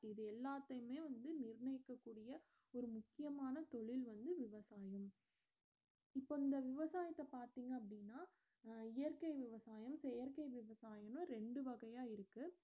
இது எல்லாத்தையுமே வந்து நிர்ணியக்க கூடிய ஒரு முக்கியமான தொழில் வந்து விவசாயம் இப்ப இந்த விவசாயத்த பார்த்திங்க அப்படினா அஹ் இயற்கை விவசாயம் செயற்கை விவசாயமு ரெண்டு வகையா இருக்கு